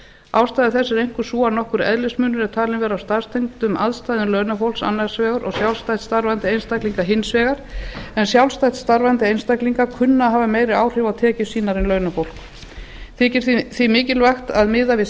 ástæða þess er einkum sú að nokkur eðlismunur er talinn vera á starfstengdum aðstæðum launafólks annars vegar og sjálfstætt starfandi einstaklinga hins vegar en sjálfstætt starfandi einstaklingar kunna að hafa meiri áhrif á tekjur sínar en launafólk þykir því mikilvægt að miða við